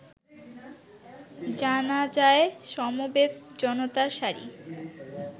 জানাজায় সমবেত জনতার সারি